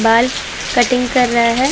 बाल कटिंग कर रहा है।